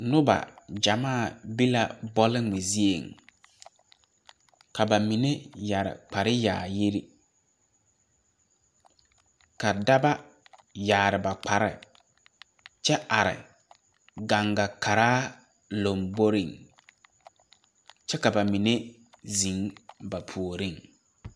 Noba gyamaa be la bɔlgmɛ zieŋ ka ba mine ka daba yaare ba kparehi kyɛ are gaŋga paraa lomboreŋ kyɛvka ba mine zèŋ ba puoriŋ.